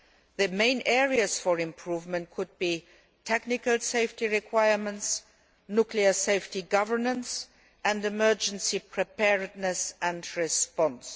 The main areas for improvement could be technical safety requirements, nuclear safety governance and emergency preparedness and response.